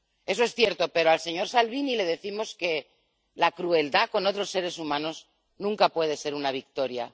Eso es cierto, pero al señor Salvini le decimos que la crueldad con otros seres humanos nunca puede ser una victoria.